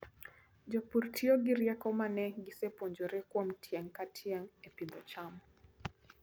Jopur tiyo gi rieko ma ne gisepuonjore kuom tieng' ka tieng' e pidho cham.